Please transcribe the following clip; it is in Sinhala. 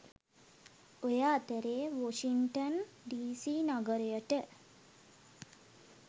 ඔය අතරේ වොෂින්ටන් ඩී.සී නගරයට